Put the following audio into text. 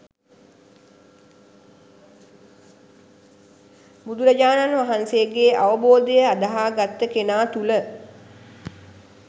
බුදුරජාණන් වහන්සේගේ අවබෝධය අදහා ගත්ත කෙනා තුළ